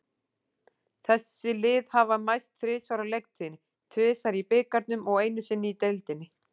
Þessi lið hafa mæst þrisvar á leiktíðinni, tvisvar í bikarnum og einu sinni í deildinni.